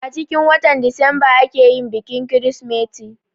Acikin watan disamba ake yin bikin kirsimeti